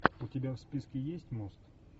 у тебя в списке есть мост